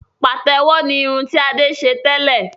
Pàtẹ́wọ̀ ni irun ti Adé ṣe tẹ́lẹ̀